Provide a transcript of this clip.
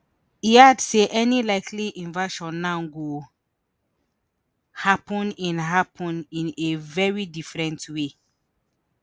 e add say any likely invasion now go happun in happun in a very different way